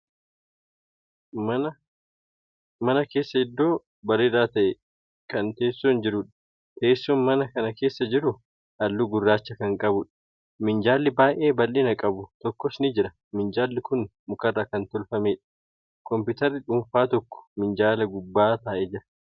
Mana keessa iddoo bareedaa ta'e Kan teessoon jiruudha. teessoon mana kana keessa jiru halluu gurraacha Kan qabuudha. minjaalli baay'ee bal'ina qabu tokkos ni jira. minjaalli Kuni mukarraa Kan hojjatameedha. kompitarri dhuunfaa tokko minjaala gubbaa taa'ee Jira.